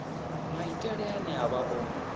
maitele ane a vha o